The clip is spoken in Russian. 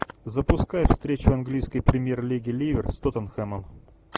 запускай встречу английской премьер лиги ливер с тоттенхэмом